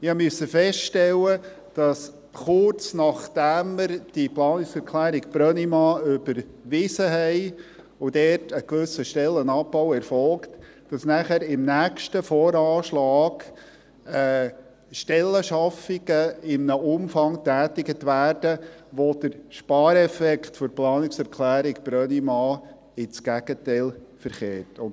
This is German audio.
Ich musste feststellen, dass kurz nachdem wir die Planungserklärung Brönnimann überwiesen hatten und ein gewisser Stellenabbau erfolgte, im nächsten VA Stellenschaffungen in einem Umfang getätigt wurden, die den Spareffekt der Planungserklärung Brönnimann ins Gegenteil verkehren.